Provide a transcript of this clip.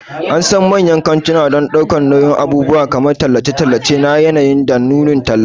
An san manyan kantuna don ɗaukar nauyin abubuwan kamar tallace-tallace na yanayi da nunin talla.